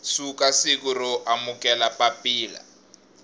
suka siku ro amukela papila